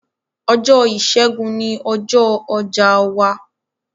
Ọjọ̀ ìṣẹ̀gùn ní ọjọ̀ ọjà wà